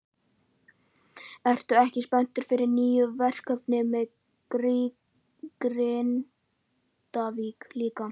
Ertu ekki spenntur fyrir nýju verkefni með Grindavík líka?